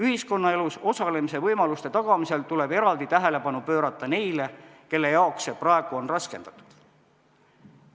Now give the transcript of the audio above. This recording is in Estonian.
Ühiskonnaelus osalemise võimaluste tagamisel tuleb eraldi tähelepanu pöörata neile, kellel see praegu on raskendatud.